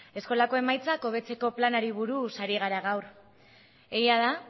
eskolako emaitzak hobetzeko planari buruz ari gara gaur egia da